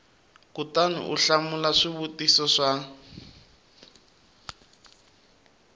kutani u hlamula swivutiso swa